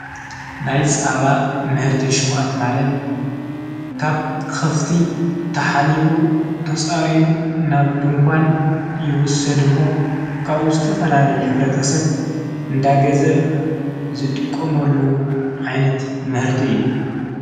ናይ ጻባእ ምህርቲ ሽቕት ማለት ካብ ኸፍቲ ተኃሊቡ ተጻሪን ናብ ድንኳን ይወሰድሞ ካብኡ ዝተፈላለ ኅብረተሰብ እንዳገዘ ዝጥቆሞሉ ዒንት ምህርቲ እየ።